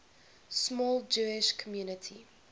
small jewish community